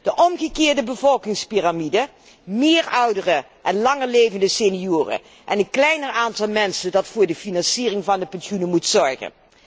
De omgekeerde bevolkingspiramide meer ouderen en langer levende senioren en een kleiner aantal mensen dat voor de financiering van de pensioenen moet zorgen.